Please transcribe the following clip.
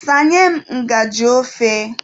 Sanye m ngajị ofe.